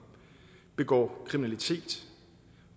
begår kriminalitet